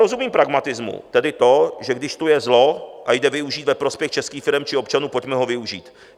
Rozumím pragmatismu, tedy to, že když tu je zlo a jde využít ve prospěch českých firem či občanů, pojďme ho využít.